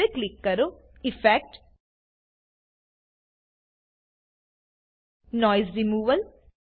હવે ક્લિક કરો effect noise removal